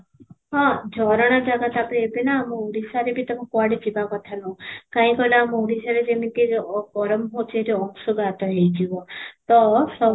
ହଁ, ଝରଣା ଜାଗା ତା'ପରେ ଏବେ ନା ଆମ ଓଡ଼ିଶାରେ ବି ତମେ କୁଆଡେ ଯିବା କଥା ନୁହେଁ, କାହିଁ କହିଲ ଆମ ଓଡ଼ିଶାରେ ଯେମିତି ଅ ଗରମ ହଉଛି ସେଠି ଅଂଶୁଘାତ ହେଇ ଯିବ ତ ସବୁ